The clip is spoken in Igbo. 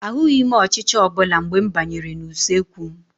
Ahụghị m ọchịcha ọbụla mgbe m banyere n'usekwu m.